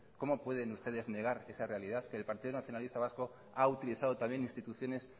cómo pueden ustedes negar esa realidad que el partido nacionalista vasco ha utilizado también instituciones